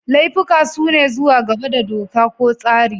Laifuka sune zuwa gaba da doka ko tsari.